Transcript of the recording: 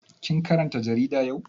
Kin karanta jarida yau?